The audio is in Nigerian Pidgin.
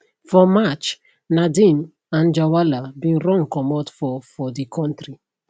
for march nadeem anjarwalla bin run comot for for di kontri